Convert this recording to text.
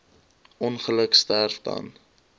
ongeluk sterf dan